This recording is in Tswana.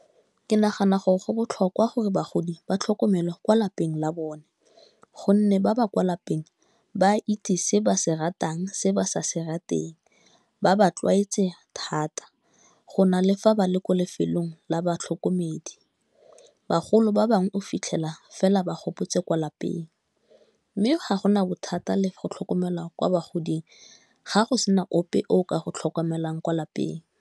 Ke nagana gore go botlhokwa gore bagodi ba tlhokomelo kwa lapeng la bone, gonne ba ba kwa lapeng ba itse se ba se ratang, se ba se se rateng, ba ba tlwaetse thata go na le fa ba le ko lefelong la batlhokomedi. Bagolo ba bangwe o fitlhela fela ba gopotse kwa lapeng, mme ga gona bothata le go tlhokomela kwa bogading ga go sena ope o ka go tlhokomelang kwa lapeng.